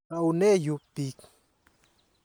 Taune yu piik.